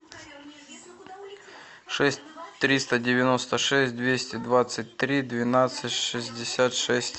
шесть триста девяносто шесть двести двадцать три двенадцать шестьдесят шесть